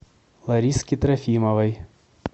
лариске трофимовой